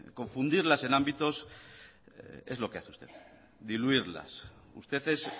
confundirlas en ámbitos es lo que hace usted diluirlas usted es